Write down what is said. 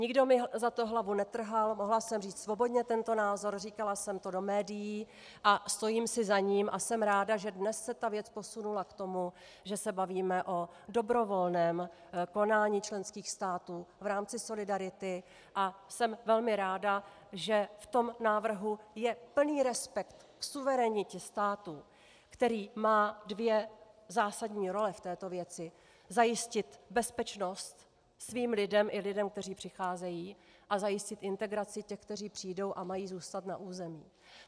Nikdo mi za to hlavu netrhal, mohla jsem říct svobodně tento názor, říkala jsem to do médií a stojím si za ním a jsem ráda, že dnes se ta věc posunula k tomu, že se bavíme o dobrovolném konání členských států v rámci solidarity, a jsem velmi ráda, že v tom návrhu je plný respekt k suverenitě států, který má dvě zásadní role v této věci: zajistit bezpečnost svým lidem i lidem, kteří přicházejí, a zajistit integraci těch, kteří přijdou a mají zůstat na území.